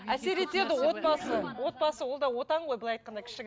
әсер етеді отбасы отбасы ол да отан ғой былай айтқанда